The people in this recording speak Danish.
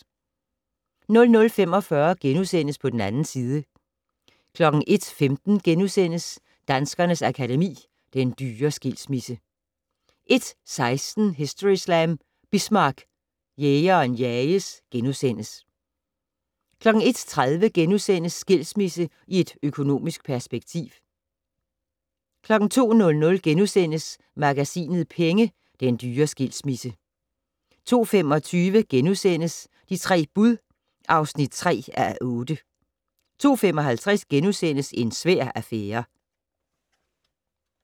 00:45: På den 2. side * 01:15: Danskernes Akademi: Den dyre skilsmisse * 01:16: Historyslam: Bismarck- Jægeren jages * 01:30: Skilsmisse i et økonomisk perspektiv * 02:00: Magasinet Penge: Den dyre skilsmisse * 02:25: De tre bud (3:8)* 02:55: En svær affære *